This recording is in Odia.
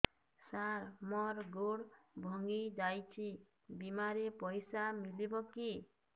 ସାର ମର ଗୋଡ ଭଙ୍ଗି ଯାଇ ଛି ବିମାରେ ପଇସା ମିଳିବ କି